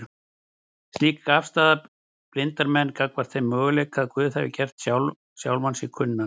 Slík afstaða blindar manninn gagnvart þeim möguleika að Guð hafi gert sjálfan sig kunnan